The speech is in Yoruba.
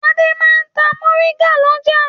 Adé máa ń ta mòríngà lọ́jà.